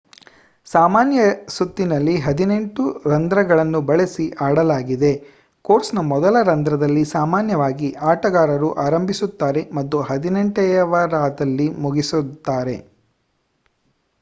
ಸಾಮಾನ್ಯ ಸುತ್ತಿನಲ್ಲಿ ಹದಿನೆಂಟು ರಂಧ್ರಗಳನ್ನು ಬಳಸಿ ಆಡಲಾಗಿದೆ ಕೋರ್ಸ್‌ನ ಮೊದಲ ರಂಧ್ರದಲ್ಲಿ ಸಾಮಾನ್ಯವಾಗಿ ಆಟಗಾರರು ಆರಂಭಿಸುತ್ತಾರೆ ಮತ್ತು ಹದಿನೆಂಟನೆಯದರಲ್ಲಿ ಮುಗಿಸುತ್ತಾರೆ